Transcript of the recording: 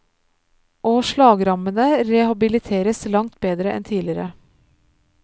Og slagrammede rehabiliteres langt bedre enn tidligere.